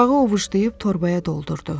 Torpağı ovuşlayıb torbaya doldurdu.